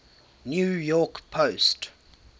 new york post